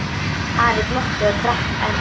Ari glotti og drakk enn.